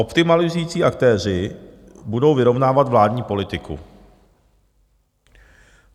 Optimalizující aktéři budou vyrovnávat vládní politiku.